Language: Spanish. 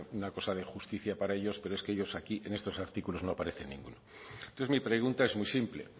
una cosa de justicia para ellos pero es que ellos aquí en estos artículos no aparecen ninguno entonces mi pregunta es muy simple